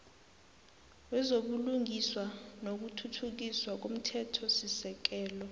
wezobulungiswa nokuthuthukiswa komthethosisekelo